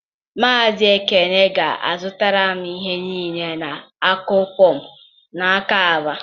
Maazị Ekene ga-azụtara m ihe niile na-akụ pọmpụ n'aka ABA